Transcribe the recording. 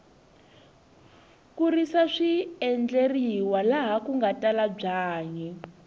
ku risa swi endleriwa laha kunga tala byanyi